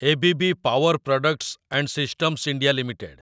ABB power products and systems India limited